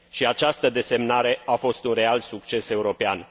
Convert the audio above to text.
Această desemnare a fost un real succes european.